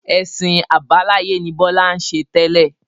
Ẹ̀sìn àbáláyé ni Bọlá ń ṣe tẹ́lẹ̀